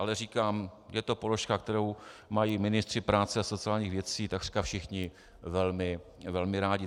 Ale říkám, je to položka, kterou mají ministři práce a sociálních věcí takřka všichni velmi rádi.